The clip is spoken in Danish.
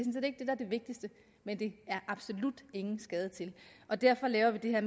vigtigste men det er absolut ingen skade til og derfor laver vi det her